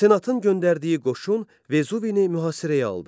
Senatın göndərdiyi qoşun Vezuvini mühasirəyə aldı.